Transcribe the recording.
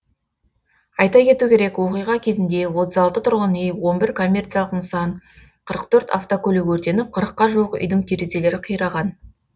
айта кету керек оқиға кезінде отыз алты тұрғын үй он бір коммерциялық нысан қырық төрт автокөлік өртеніп қырыққа жуық үйдің терезелері қираған